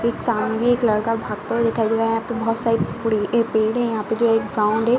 एक सामने एक लड़का भागता हुआ दिखाई दे रहा है यहाँ पे बहोत सारे पेड़े हैं यहाँ पे जो एक ग्राउंड है।